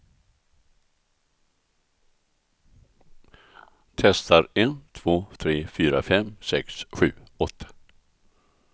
Testar en två tre fyra fem sex sju åtta.